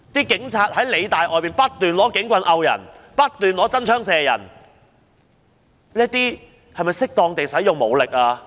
警察在理大外不斷用警棍打人，不斷用真槍射人，這是否使用適當武力呢？